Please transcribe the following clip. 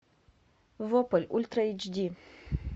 вопль ультра эйч ди